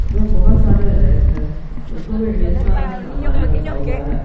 में बहुत सारे रैक है रैकों में ढेर सारा सामान रखा हुआ है।